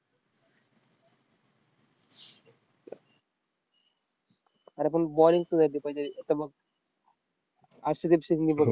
अरे पण bowling सुधारली पाहिजे अर्षदिप सिंगने बघ,